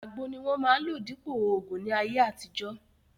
Àgbo ni wọ́n máa ń lò dípòo ògùn ní ayé àtijọ́